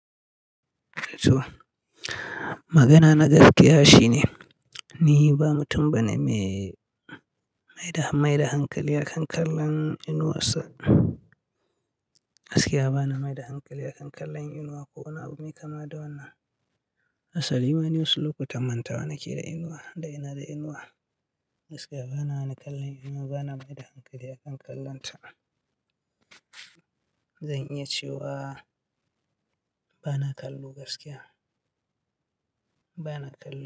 Magana na gaskiya shine ni ba mutum bane me maida hankali a kan kallon inuwarsa. Gaskiya bana mai da hankali a kan kallon inuwa ko wani abu me kama da wannan. Asali ma ni wasu lokutan mantawa nake da inuwa da ina da inuwa. Gaskiya bana kallon inuwa, bana mai da hankali a kan kallonta. Zan iya cewa bana kallo gaskiya, bana kallo.